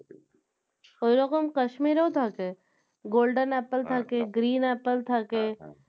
ওইরকম Kashmir ও থাকে golden apple থাকে green apple থাকে